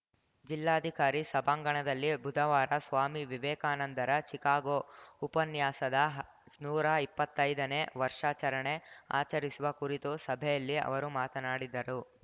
ಜಿಲ್ಲಾಧಿಕಾರಿ ಸಭಾಂಗಣದಲ್ಲಿ ಬುಧವಾರ ಸ್ವಾಮಿ ವಿವೇಕಾನಂದರ ಚಿಕಾಗೋ ಉಪನ್ಯಾಸದ ಹ ನೂರಾ ಇಪ್ಪತ್ತೈದನೇ ವರ್ಷಾಚರಣೆ ಆಚರಿಸುವ ಕುರಿತ ಸಭೆಯಲ್ಲಿ ಅವರು ಮಾತನಾಡಿದರು